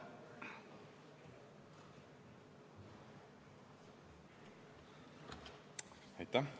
Aitäh!